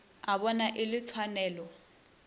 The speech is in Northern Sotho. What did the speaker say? o bona e le tshwanelo